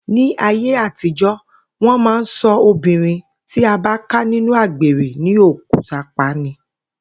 Ní ayé àtijó̩, wó̩n máa ń so̩ obìnrin tí a bá ká nínú àgbèrè ní òkúta pa ni